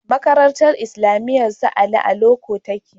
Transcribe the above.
Makarantar islamiyar su Ali a loko take